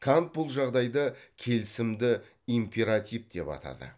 кант бұл жағдайды келісімді императив деп атады